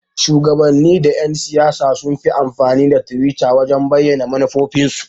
Shuwagabanni da Yan-siyasa sunfi amfani da twitter wajan bayyana manufofin su.